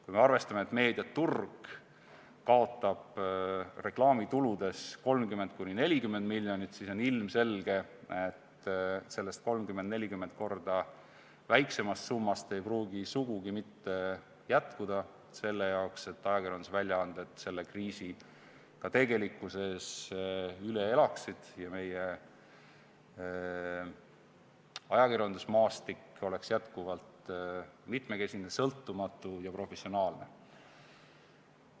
Kui me arvestame, et meediaturg kaotab reklaamitulus 30–40 miljonit, siis on ilmselge, et sellest 30–40 korda väiksemast summast ei pruugi sugugi mitte jätkuda selle jaoks, et ajakirjandusväljaanded selle kriisi ka tegelikkuses üle elaksid ja meie ajakirjandusmaastik oleks jätkuvalt mitmekesine, sõltumatu ja professionaalne.